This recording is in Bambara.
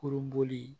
Kurun bɔli